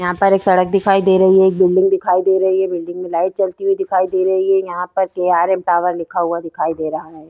यहाँ पर एक सड़क दिखाई दे रही है एक बिल्डिंग दिखाई दे रही है बिल्डिंग में लाइट जलती हुई दिखाई दे रही है यहाँ पे के.आर.एम. टॉवर लिखा हुआ दिखाई दे रहा है।